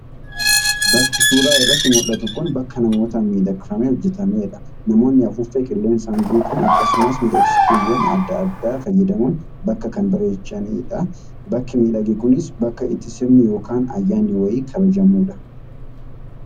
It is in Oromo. Bakki suuraa irratti mul'atu kun bakka namootaan miidhagfamee hojjetamedha. Namoonni afuuffee qilleensaan guutuun akkasumas miidhagsituuwwan adda addaa fayyadamuun bakka kan bareechanii argama. Bakki miidhage kunis bakka itti sirni yookaan ayyanni wayii kabajamudha.